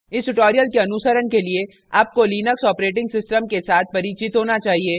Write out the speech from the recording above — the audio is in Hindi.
इस tutorial के अनुसरण के लिए आपको लिनक्स operating system के साथ परिचित होना चाहिए